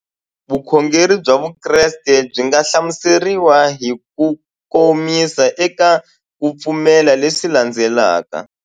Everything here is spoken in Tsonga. Vukhongeri bya Vukreste byi nga hlamuseriwa hi kukomisa eka ku pfumela leswi landzelaka.